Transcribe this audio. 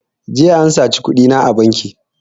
Jiya an saci kuɗina a banki